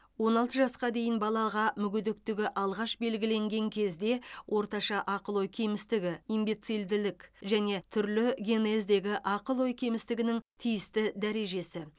он алты жасқа дейін балаға мүгедектігі алғаш белгілеген кезде орташа ақыл ой кемістігі имбецильділік және түрлі генездегі ақыл ой кемістігінің тиісті дәрежесі